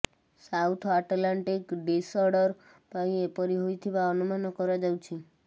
south Atlantic disorder ପାଇଁ ଏପରି ହୋଇଥିବା ଅନୁମାନ କରାଯାଉଛି